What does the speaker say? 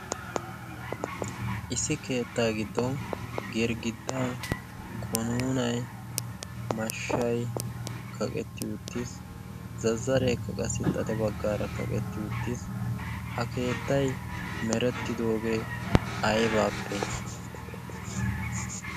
issi keettaa giddon masoopee samppaygaashshay kawetti uttiis. . ha keettay merettidoogee aybaasee?